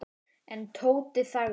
En Tóti þagði.